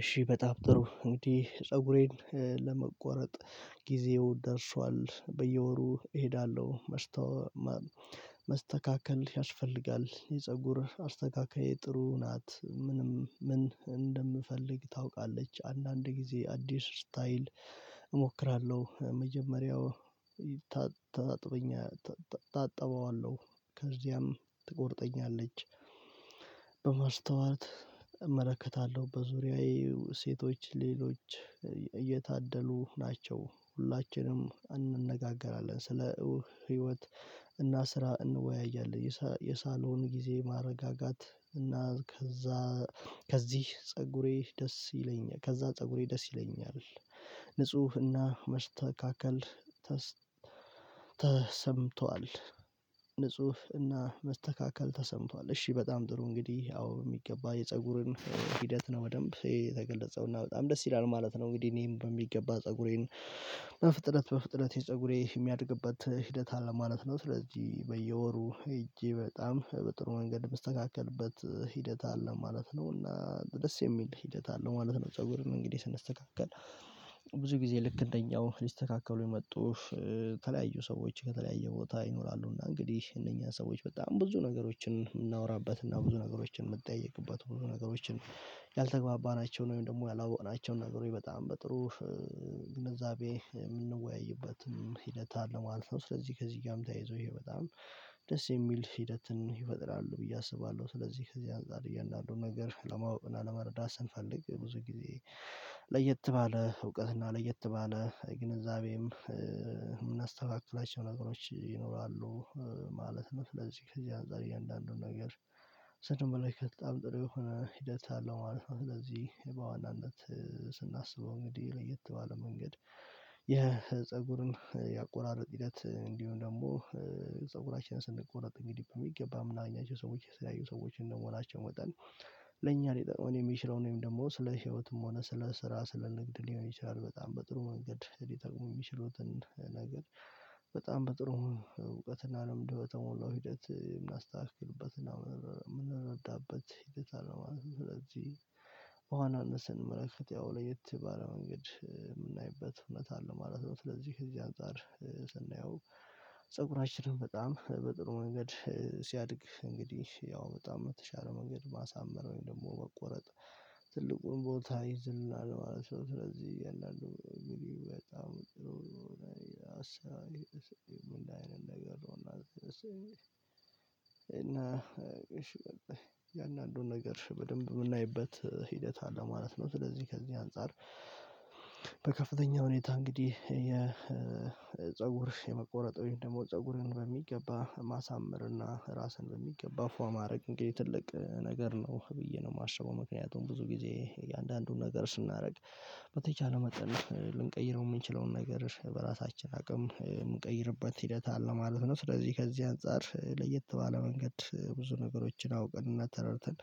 እሺ በጣም ጥሩ እንግዲህ ፀጉሬን ለመቆረጥ ጊዜው ደርሷል፣ በየወሩ እሄዳለሁ፣ መስተካከል ያስፈልጋል የፀጉር አስተካካይ ጥሩ ናት ምንም ምን እንደምፈልግ ታውቃለች አንዳንድ ጊዜ አዲስ ስታይል። እሞክራለሁ መጀመሪያው ታጥበዋለሁ ከዚያም ትቆርጠኛለች። በመስተዋት እመለከታለሁ በዙሪያዬ ሴቶች ሌሎች እየታደሉ ናቸው። ሁላችንም እንነጋገራለን ስለ ህይወት እና ስራ እንወያያለን። የሳሎን ጊዜ ማረጋጋት እና ከዛ ከዚህ ፀጉሬ ደስ ይለኛል ከዛ ፀጉሬ ደስ ይለኛል። ንፁህና መስተካከል ተሰምቷል። ንጹህ እና መስተካከል ተሰምቷል። እሺ በጣም ጥሩ እንግዲህ አዎ የሚገባ የፀጉርን ሂደት ነው በደንብ ይሄ በጣም ደስ ይላል ማለት ነው። እንግዲህ እኔ በሚገባ ፀጉሬን በፍጥነት በፍጥነት የፀጉሬ የሚያድግበት ሂደት አለ ማለት ነው። ስለዚህ በየወሩ ሄጄ በጣም በጥሩ መንገድ ምስተካከልበት ሂደት አለ ማለት ነው እና ደስ የሚል ሂደት አለ ማለት ነው። ፀጉርን እንግዲህ ስንስተካከል ብዙ ጊዜ ልክ እንደኛው ሊስተካከሉ የመጡ የተለያዩ ሰዎች ከተለያዩ ቦታ ይኖራሉና እንግዲህ እነኛን ሰዎች በጣም ብዙ ነገሮችን የምናወራበት እና ብዙ ነገሮችን የምትጠይቅበት ብዙ ነገሮችን ያልተግባባናቸውን ወይም ደግሞ ያላወቅናቸውን ነገሮች በጣም በጥሩ ግንዛቤ የምንወያይበትም ሂደት አለ ማለት ነው። ስለዚህ ከዚህ ጋርም ተያይዞ ይሄ በጣም ደስ የሚል ሂደትን ይፈጥራሉ ብዬ አስባለሁ። ስለዚህ ከዚህ አንፃር እያንዳንዱን ነገር ለማወቅ እና ለመረዳት ስንፈልግ ብዙ ጊዜ ለየት ባለ እውቀትና ለየት ባለ ግንዛቤም የምናስተካክላቸው ነገሮች ይኖራሉ ማለት ነው። ለዚህ ከዚህ አንፃር እያንዳንዱን ነገር ስለዚህ በኋላ ከጣም ጥሩ የሆነ ሂደት አለው ማለት ነው። ስለዚህ በዋናነት ስናስበው እንግዲህ ለየት ባለ መንገድ የፀጉርን ያቆራረጥ ሂደት እንዲሁም ደግሞ ፀጉራችንን ስንቆረጥ እንግዲህ በሚገባ ምናምን ያኛቸው ሰዎች የሚያዩ ሰዎች እንደመሆናቸው መጠን ለኛ ሊጠቅመን የሚችለው ወይም ደግሞ ስለ ህይወትም ሆነ ስለ ስራ ስለ ንግድ ሊሆን ይችላል በጣም በጥሩ መንገድ ሊጠቅሙ የሚችሉትን ነገር በጣም በጥሩ እውቀትና ልምድበተሞላው ሂደት የምናስተካክልበት ነው የምንረዳበት ሂደት አለው ማለት ነው። ስለዚህ ኋላን ስንመለከት ያው ለየት ባለ መንገድ የምናይበት እውነት አለ ማለት ነው። ስለዚህ ከዚህ አንፃር ስናየው ፀጉራችንን በጣም በጥሩ መንገድ ሲያድግ እንግዲህ ያው በጣም የተሻለው መንገድ ማሳመር ወይም ደግሞ መቆረጥ ትልቁን ቦታ ይይዝልና ለማለት ነው። ስለዚህ የለንም በጣም እንደሆነ አስቤ ምን አይነት ነገር ነው? እና እሺ እያንዳንድን ነገር በደንብ የምናይበት ሂደት አለ ማለት ነው። ስለዚህ ከዚህ አንፃር በከፍተኛ ሁኔታ እንግዲህ የ የፀጉር የመቆረጥ ወይም ደግሞ ፀጉርን በሚገባ ማሳመር እና ራስን በሚገባ ፎርም ማድረግ ትልቅ ነገር ነው ብዬ ነው የማስበው። ምክንያቱም ብዙ ጊዜ የእያንዳንዱን ነገር ስናደርግ በተቻለ መጠን ልንቀይረው የምንችለውን ነገር በራሳችን አቅም የምንቀይርበት ሂደት አለ ማለት ነው። ስለዚህ ከዚህ አንፃር ለየት ባለ መንገድ ብዙ ነገሮችን አውቀን እና ተረድተን